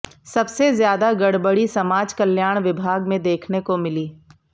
सबसे ज्यादा गड़बड़ी समाज कल्याण विभाग में देखने को मिली